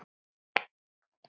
Kæra systir.